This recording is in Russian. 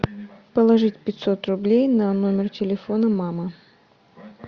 положить пятьсот рублей на номер телефона мамы